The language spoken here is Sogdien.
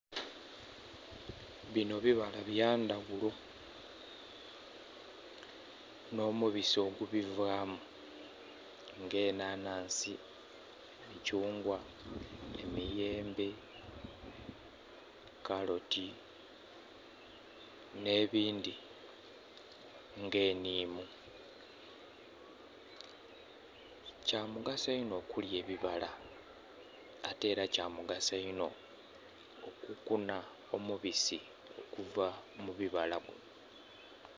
Bino bibala bya ndhaghulo n'omubisi ogubivaamu, nga enhanhansi, emithungwa, emiyembe, kaloti n'ebindhi nga enhimu. Kya mugaso inho okulya ebibala ate era kya mugaso inho okukunha omubisi okuva mu bibala.